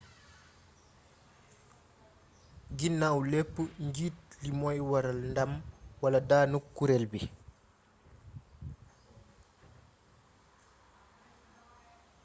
ginaaw lepp njiit li moy waral ndam wala danuk kureel bi